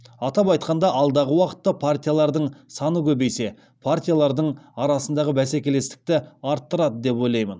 атап айтқанда алдағы уақытта партиялардың саны көбейсе партиялардың арасындағы бәсекелістікті арттырады деп ойлаймын